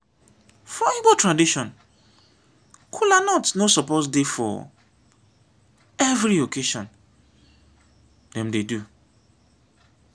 for igbo tradition kolanut suppose dey for every occassion dem dey do.